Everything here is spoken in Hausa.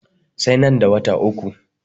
Sai nan da wata uku.